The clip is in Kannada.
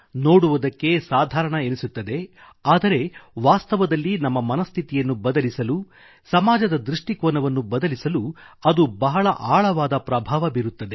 ನೋಡುವುದಕ್ಕೆ ಸಾಧಾರಣ ಎನಿಸುತ್ತದೆ ಆದರೆ ವಾಸ್ತವದಲ್ಲಿ ನಮ್ಮ ಮನಸ್ಥಿತಿಯನ್ನು ಬದಲಿಸಲು ಸಮಾಜದದೃಷ್ಟಿಕೋನವನ್ನು ಬದಲಿಸಲು ಅದು ಬಹಳ ಆಳವಾದ ಪ್ರಭಾವ ಬೀರುತ್ತದೆ